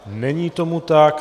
Není tomu tak.